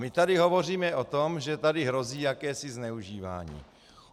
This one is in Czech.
My tady hovoříme o tom, že tady hrozí jakési zneužívání.